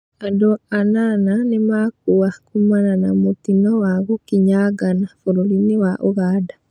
Andũanana nĩmakua kumana na mũtino wa gũkinyangana bũrũrinĩ wa ũganda.